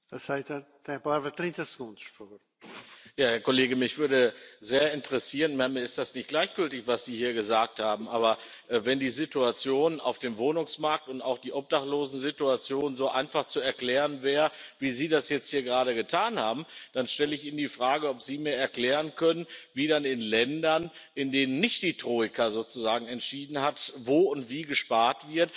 Herr Kollege! Mich würde sehr interessieren, weil mir das, was Sie hier gesagt haben, nicht gleichgültig ist Wenn die Situation auf dem Wohnungsmarkt und auch die Obdachlosensituation so einfach zu erklären wäre, wie Sie das jetzt hier gerade getan haben, dann stelle ich Ihnen die Frage, ob Sie mir erklären können, wie es dann in Ländern, in denen nicht die Troika sozusagen entschieden hat, wo und wie gespart wird,